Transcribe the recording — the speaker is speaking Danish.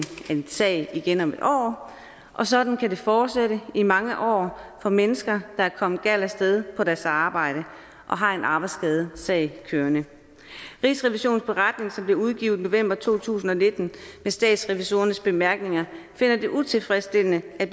af din sag igen om en år og sådan kan det fortsætte i mange år for mennesker der er kommet galt af sted på deres arbejde og har en arbejdsskadesag kørende rigsrevisionens beretning som blev udgivet i november to tusind og nitten med statsrevisorernes bemærkninger finder det utilfredsstillende at